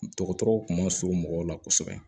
Dɔgɔtɔrɔw kun ma surun mɔgɔw la kosɛbɛ